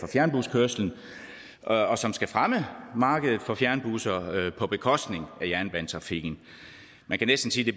fjernbuskørsel og som skal fremme markedet for fjernbusser på bekostning af jernbanetrafikken man kan næsten sige